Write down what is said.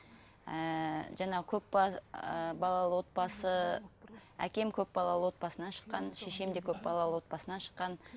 ііі жаңа ыыы балалы отбасы әкем көпбалалы отбасынан шыққан шешем де көпбалалы отбасынан шыққан